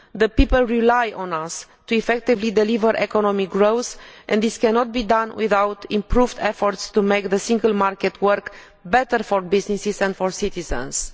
The people rely on us to effectively deliver economic growth and this cannot be done without improved efforts to make the Single Market work better for businesses and for citizens.